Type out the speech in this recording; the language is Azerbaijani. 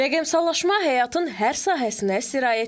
Rəqəmsallaşma həyatın hər sahəsinə sirayət edib.